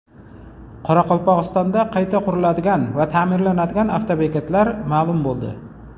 Qoraqalpog‘istonda qayta quriladigan va ta’mirlanadigan avtobekatlar ma’lum bo‘ldi.